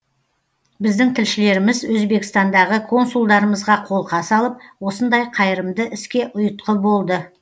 біздің тілшілеріміз өзбекстандағы консулдарымызға қолқа салып осындай қайырымды іске ұйытқы болды